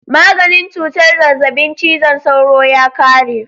Maganin cutar zazzabin cizon sauro ya kare.